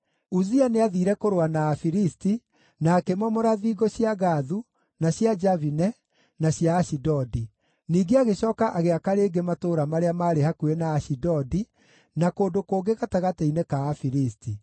Uzia nĩathiire kũrũa na Afilisti, na akĩmomora thingo cia Gathu, na cia Jabine, na cia Ashidodi. Ningĩ agĩcooka agĩaka rĩngĩ matũũra marĩa maarĩ hakuhĩ na Ashidodi na kũndũ kũngĩ gatagatĩ-inĩ ka Afilisti.